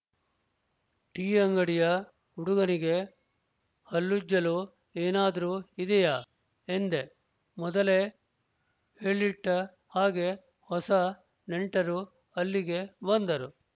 tea ಅಂಗಡಿಯ ಹುಡುಗನಿಗೆ ಹಲ್ಲುಜ್ಜಲು ಏನಾದ್ರೂ ಇದೆಯಾ ಎಂದೆ ಮೊದಲೇ ಹೇಳಿಟ್ಟ ಹಾಗೆ ಹೊಸ ನೆಂಟರೂ ಅಲ್ಲಿಗೆ ಬಂದರು